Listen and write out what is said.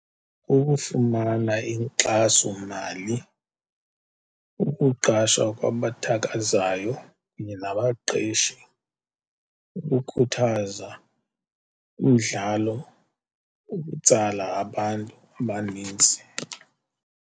Ukufumana inkxasomali, ukuqasha kwabathakazayo kunye nabaqeshi, ukukhuthaza umdlalo, ukutsala abantu abanintsi.